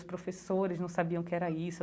Os professores não sabiam o que era isso.